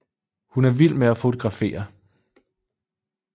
Hun er vild med at fotografere